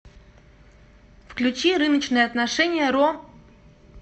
включи рыночные отношения ро